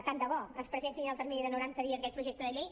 tant de bo ens presentin en el termini de noranta dies aquest projecte de llei